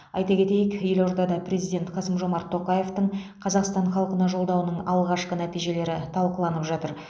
айта кетейік елордада президент қасым жомарт тоқаевтың қазақстан халқына жолдауының алғашқы нәтижелері талқыланып жатыр